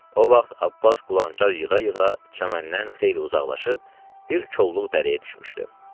O vaxt Abbas qulançar yığa-yığa çəməndən xeyli uzaqlaşıb bir çolluq dərəyə düşmüşdü.